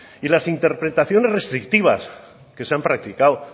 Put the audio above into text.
y las interpretaciones restrictivas que se han practicado